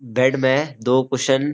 bed में दो कुशिओं --